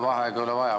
Vaheaega ei ole vaja.